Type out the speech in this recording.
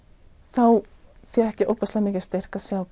þá fékk ég ofboðslega mikinn styrk að sjá